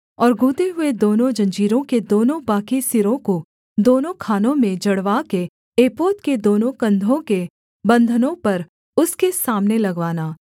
और गूँथे हुए दोनों जंजीरों के दोनों बाकी सिरों को दोनों खानों में जड़वा के एपोद के दोनों कंधों के बंधनों पर उसके सामने लगवाना